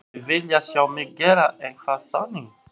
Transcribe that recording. Mynduð þið vilja sjá mig gera eitthvað þannig?